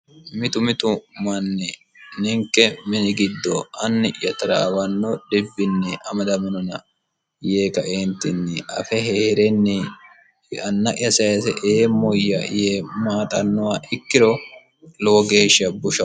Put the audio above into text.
mitu mitu manni ninke mini giddo anni'ya taraawanno dhibbinni amadaminona yee kaeentinni afe hee'renni anna'ya sayise eemoyya yee maaxannoha ikkiro lowo geeshsha bushao